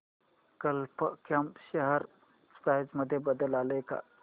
कल्प कॉम share price मध्ये बदल आलाय का